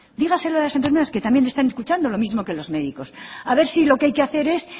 dígaselo a las enfermeras que también le están escuchando lo mismo que los médicos a ver si lo que hay que hacer es